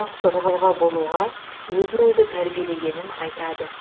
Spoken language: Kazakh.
мықты тұлға болуға өзін өзі тәрбиелегенін айтады